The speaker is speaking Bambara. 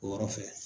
O yɔrɔ fɛ